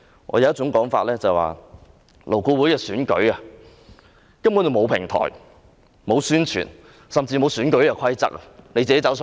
有一種說法是，勞顧會委員的選舉根本沒有平台，沒有宣傳，甚至沒有選舉規則。